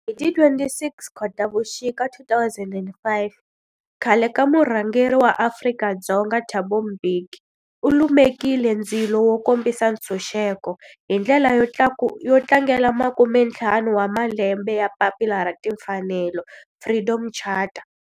Hi ti 26 Khotavuxika 2005 khale ka murhangeri wa Afrika-Dzonga Thabo Mbeki u lumekile ndzilo wo kombisa ntshuxeko, hi ndlela yo tlangela makumentlhanu wa malembe ya papila ra timfanelo, Freedom Charter.